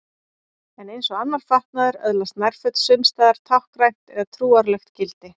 En eins og annar fatnaður öðlast nærföt sums staðar táknrænt eða trúarlegt gildi.